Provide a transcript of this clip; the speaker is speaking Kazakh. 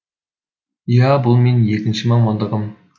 и ә бұл менің екінші мамандығым